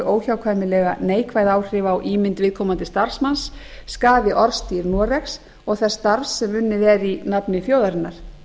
óhjákvæmilega neikvæð áhrif á ímynd viðkomandi starfsmanna skaði orðstír noregs og þess starfs sem unnið er í nafni þjóðarinnar